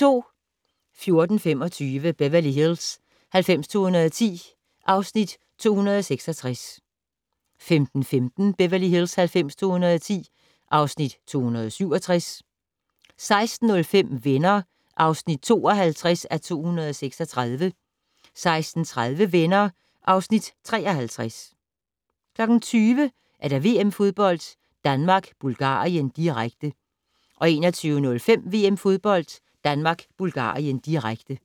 14:25: Beverly Hills 90210 (Afs. 266) 15:15: Beverly Hills 90210 (Afs. 267) 16:05: Venner (52:236) 16:30: Venner (Afs. 53) 20:00: VM-fodbold: Danmark-Bulgarien, direkte 21:05: VM-fodbold: Danmark-Bulgarien, direkte